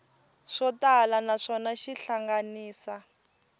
swo tala naswona xi hlanganisa